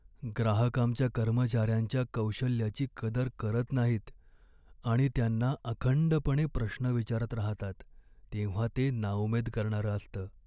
ग्राहक आमच्या कर्मचाऱ्यांच्या कौशल्याची कदर करत नाहीत आणि त्यांना अखंडपणे प्रश्न विचारत राहतात तेव्हा ते नाउमेद करणारं असतं.